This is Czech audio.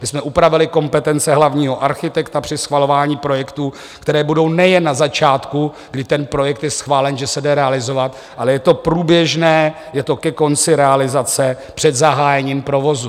My jsme upravili kompetence hlavního architekta při schvalování projektů, které budou nejen na začátku, kdy ten projekt je schválen, že se jde realizovat, ale je to průběžné, je to ke konci realizace, před zahájením provozu.